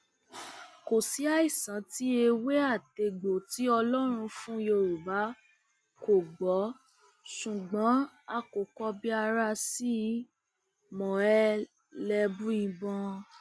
kò sí àìsàn tí ewé àtegbò tí ọlọrun fún yorùbá kò gbọ ṣùgbọn a kò kọbi ara sí i mọẹlẹbùíbọn